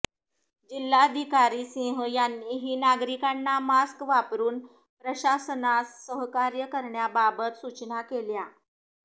जिल्हाधिकारी सिंह यांनीही नागरिकांना मास्क वापरून प्रशासनास सहकार्य करण्याबाबत सूचना केल्या